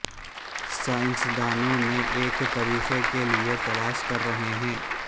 سائنسدانوں نے ایک طریقہ کے لئے تلاش کر رہے ہیں